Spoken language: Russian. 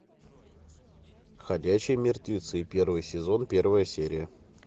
ходячие мертвецы первый сезон первая серия